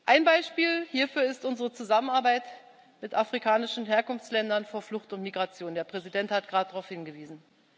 Ein Beispiel hierfür ist unsere Zusammenarbeit mit afrikanischen Herkunftsländern von Flucht und Migration der Präsident hat gerade darauf hingewiesen.